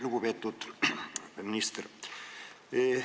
Lugupeetud minister!